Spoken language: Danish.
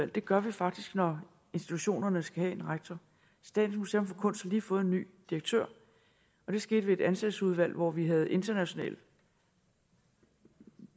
det gør vi faktisk når institutionerne skal have en rektor statens museum for kunst har lige fået en ny direktør og det skete ved et ansættelsesudvalg hvor vi havde international